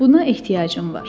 Buna ehtiyacım var.